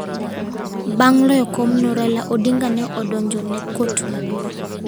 Bang ' loyo komno, Raila Odinga ne odonjo ne Kot Maduong.